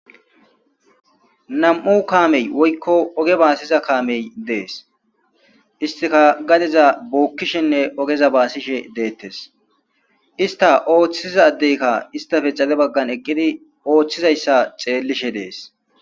Nam'u kaamey woykko ooge baasiza kaamey dees istikka gaddeza bookishenne oogeza basishshe dettes ista ooththisiza addeykka istappe xaade baggan eeqiddi ooththizayssa xellishe de'es